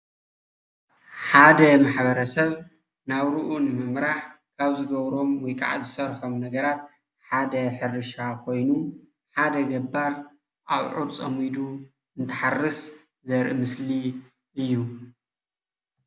ሓደ ማሕበረሰብ ናብርኡ ንምምራሕ ካብ ዝገብሮም ወይ ከዓ ካብ ዝሰርሖም ነገራት ሓደ ሕርሻ ኮይኑ ሓደ ገባር ኣውዕር ፀሚዱ እንትሓርስ ዘርኢ ምስሊ እዩ፡፡